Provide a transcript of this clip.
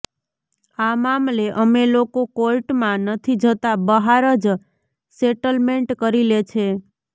આ મામલે અમે લોકો કોર્ટમાં નથી જતા બહાર જ સેટલમેન્ટ કરી લે છે